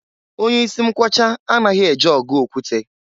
Onye isi mkwọcha anaghi eje ọgụ okwute.